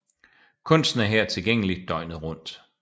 Kunsten er her tilgængelig døgnet rundet